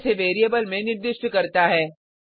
और इसे वेरिएबल में निर्दिष्ट करता है